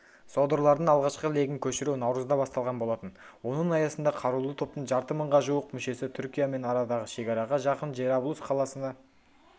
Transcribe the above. содырлардың алғашқы легін көшіру наурызда басталған болатын оның аясында қарулы топтың жарты мыңға жуық мүшесі түркиямен арадағы шекараға жақын джераблус қаласына